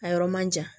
A yɔrɔ man jan